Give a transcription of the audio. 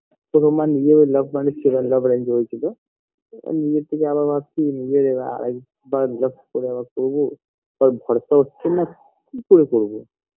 তো আমার নিজের love marriage ছিলো love arrange হয়েছিল নিজের থেকে আবার ভাবছি নিজের আরেকবার love করা করবো তাই ভরসা হচ্ছে না কি করে করবো